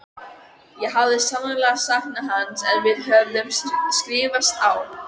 Ég hafði sannarlega saknað hans en við höfðum skrifast á.